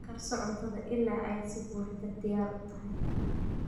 Karso cuntada ilaa ay si buuxda diyaar u tahay.